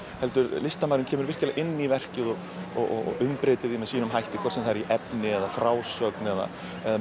heldur listamaðurinn kemur virkilega inn í verkið og umbreytir því með sínum hætti hvort sem það er í efni eða frásögn eða